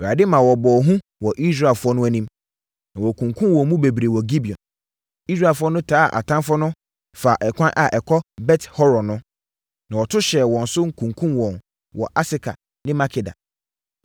Awurade ma wɔbɔɔ hu wɔ Israelfoɔ no anim, na wɔkunkumm wɔn mu bebree wɔ Gibeon. Israelfoɔ no taa atamfoɔ no faa ɛkwan a ɛkɔ Bet-Horon no, na wɔto hyɛɛ wɔn so kunkumm wɔn wɔ Aseka ne Makeda.